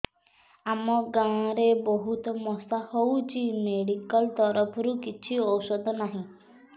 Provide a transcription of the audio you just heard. ଆମ ଗାଁ ରେ ବହୁତ ମଶା ହଉଚି ମେଡିକାଲ ତରଫରୁ କିଛି ଔଷଧ ନାହିଁ